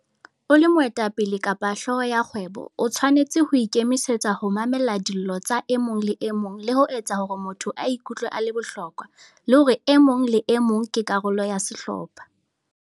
O le moetapele kapa hloho ya kgwebo, o tshwanetse ho ikemisetsa ho mamela dillo tsa e mong le e mong le ho etsa hore motho a ikutlwe a le bohlokwa, le hore e mong le e mong ke karolo ya sehlopha.